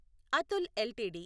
Atul LTD